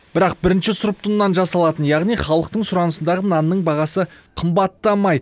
бірақ бірінші сұрыпты ұннан жасалатын яғни халықтың сұранысындағы нанның бағасы қымбаттамайды